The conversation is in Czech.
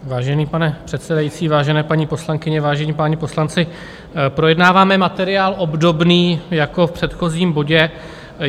Vážený pane předsedající, vážení paní poslankyně, vážení páni poslanci, projednáváme materiál obdobný jako v předchozím bodě.